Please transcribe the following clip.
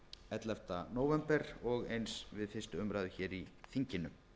ellefta nóvember og eins við fyrstu umræðu hér í þinginu